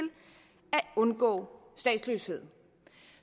undgå statsløshed